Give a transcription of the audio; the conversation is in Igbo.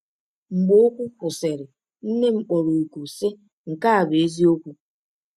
Mgbe okwu kwụsịrị, nne m kpọrọ òkù, sị: “Nke a bụ eziokwu!”